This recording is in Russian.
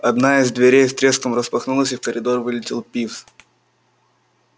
одна из дверей с треском распахнулась и в коридор вылетел пивз